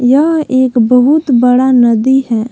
यह एक बहुत बड़ा नदी है।